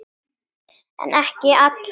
En ekki allar.